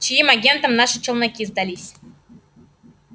чьим агентам наши челноки сдались